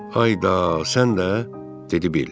Ay da, sən də, dedi Bil.